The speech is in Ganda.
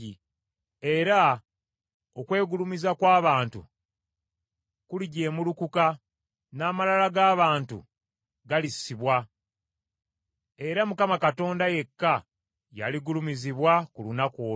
Era okwegulumiza kw’abantu kulijemulukuka, n’amalala g’abantu galissibwa; era Mukama Katonda yekka yaligulumizibwa ku lunaku olwo.